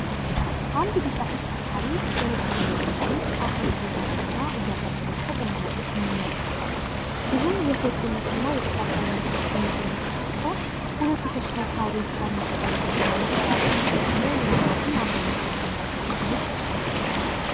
አንድ ቢጫ ተሽከርካሪ ለነጭ ተሽከርካሪ አፈር እየዛቀ እና እያቀበለ ሲሰጥ እንመለከታለን። ይህም የሰጭነትን እና የተቀባይነትን ስሜት የሚፈጥር ሲሆን፤ ሁለቱ ተሽከርካሪዎች ያሉበትን ርቀት እና መቀራረባቸዉን ደግሞ ምን አልባትም አብሮ መስራት የሚል ስሜት ይፈጥራል።